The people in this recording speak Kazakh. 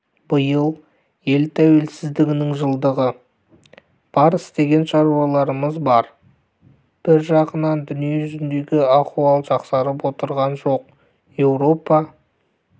биыл ел тәуелсіздігінің жылдығы бар істеген шаруаларымыз бар бір жағынан дүниежүзіндегі аіуал жақсарып отырған жоқ еуропа